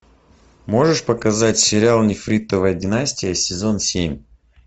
можешь показать сериал нефритовая династия сезон семь